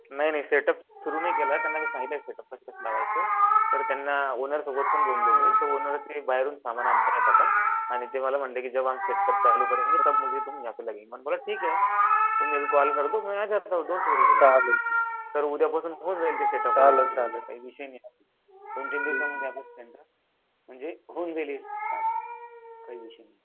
नाही नाही set up सुरू नाही केला त्यांना मी सांगितलं सेट उप कस कस लावायचं तर त्यांना ओनर सोबतपण बोललो मी ओनर बाहेरून सामान आणता आणि ते मला म्हंटले कि जाब हम सेट उप चालू कर्जे टॅब तुम लगेगे मेने बोला ठीक हे तर दोन तीन दिवसांमधे हाऊन जाईल सेटअप म्हणजे दन तीन दिवसांमध्ये आपलं सेंटर होऊन जाईन स्टार्ट काही विषय नाही